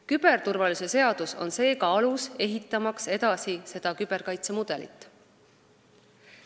Küberturvalisuse seadus on seega alus ehitamaks edasi seda küberkaitse mudelit.